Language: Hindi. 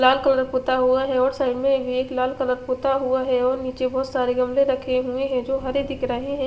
लाल कलर पुता हुआ है और साइड में भी एक लाल कलर पुता हुआ है और निचे बहोत सारे घ्मले रखे हुए है जो हरे दिख रहे है।